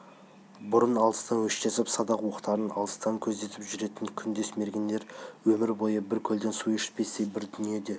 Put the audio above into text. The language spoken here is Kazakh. бұрын алыстан өштесіп садақ оқтарын алыстан көздесіп жүретін күндес мергендер өмір бойы бір көлден су ішпестей бір дүниеде